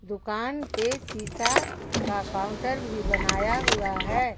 दुकान पे शिशा का काउंटर भी बनाया हुआ है।